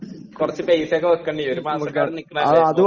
കുറച്ചുപൈസയൊക്കെ വയ്‌ക്കേണ്ടി വരും, ഒരുമാസമൊക്കെ അവിടെ നിക്കണതല്ലേ..